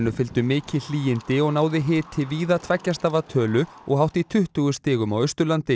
fylgdu mikil hlýindi og náði hiti víða tveggja stafa tölu og hátt í tuttugu stigum á Austurlandi